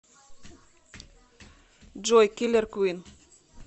джой киллер квин